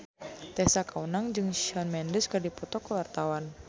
Tessa Kaunang jeung Shawn Mendes keur dipoto ku wartawan